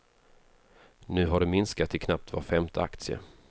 Nu har det minskat till knappt var femte aktie.